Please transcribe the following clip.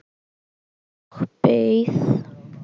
Og beið.